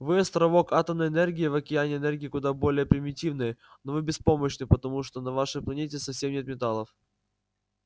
вы островок атомной энергии в океане энергии куда более примитивной но вы беспомощны потому что на вашей планете совсем нет металлов